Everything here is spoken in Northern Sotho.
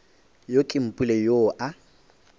yo ke mpule yoo a